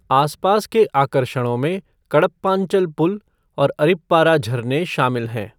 आसपास के आकर्षणों में कडप्पांचल पुल और अरिप्पारा झरने शामिल हैं।